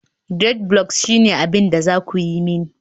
dreadlocks shine abin da za ku yi mani